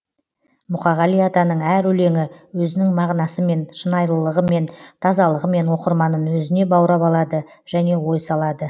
мұқағали атаның әр өлеңі өзінің мағынасымен шынайылығымен тазалығымен оқырманын өзіне баурап алады және ой салады